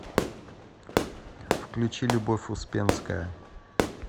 включи любовь успенская